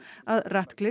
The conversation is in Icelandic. að